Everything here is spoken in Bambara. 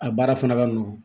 A baara fana ka nɔgɔn